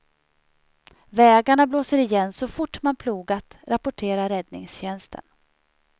Vägarna blåser igen så fort man plogat, rapporterar räddningstjänsten.